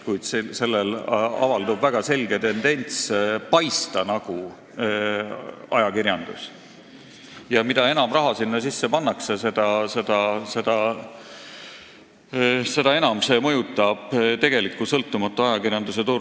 Kuid sellel avaldub väga selge tendents paista nagu ajakirjandus ja mida enam raha sinna sisse pannakse, seda enam see mõjutab tegeliku sõltumatu ajakirjanduse turgu.